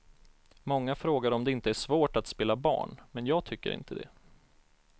Många frågar om det inte är svårt att spela barn, men jag tycker inte det.